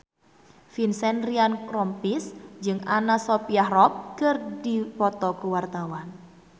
Vincent Ryan Rompies jeung Anna Sophia Robb keur dipoto ku wartawan